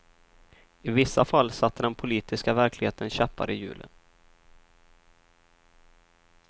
I vissa fall satte den politiska verkligheten käppar i hjulet.